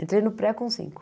Entrei no Pré com cinco.